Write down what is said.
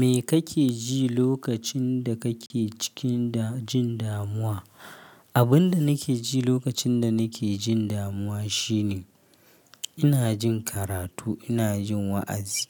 Me kake ji lokacin da kake cikin jin damuwa? Abin da nake ji lokacin da nake jin damuwa shine ina jin karatu, ina jin wa'azi.